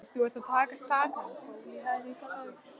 Nei, þú ert að taka skakkan pól í hæðina, lagsi.